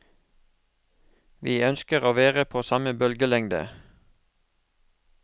Vi ønsker å være på samme bølgelengde.